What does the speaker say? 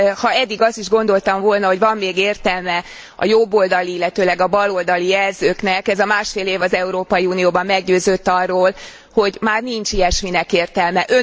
Ha eddig azt is gondoltam volna, hogy van még értelme a jobboldali, illetőleg a baloldali jelzőknek, ez a másfél év az Európai Unióban meggyőzött arról, hogy már nincs ilyesminek értelme.